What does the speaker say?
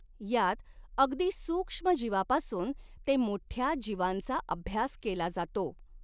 यात अगदि सूक्ष्म जिवापासुन ते मोठ़या जिवांचा अभ्यास केला जातो.